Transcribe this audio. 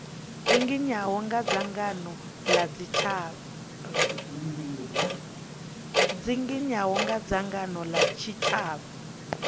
dzinginywaho nga dzangano la tshitshavha